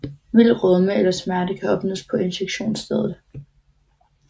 Mild rødme eller smerte kan opstå på injektionsstedet